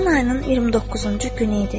Ramazan ayının 29-cu günü idi.